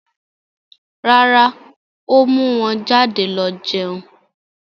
Rárá, ó mú wọn jáde lọ jẹun.